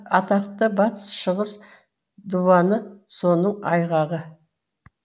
атақты батыс шығыс диуаны соның айғағы